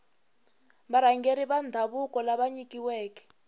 varhangeri va ndhavuko lava nyikiweke